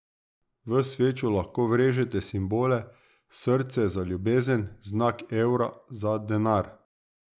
V svečo lahko vrežete simbole, srce za ljubezen, znak evra za denar.